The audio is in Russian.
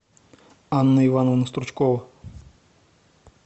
анна ивановна стручкова